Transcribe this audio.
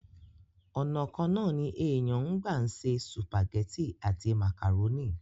ònà kan náà ní èèyàn ń gbà ṣe sùpàgẹ́tì àti màkàrónì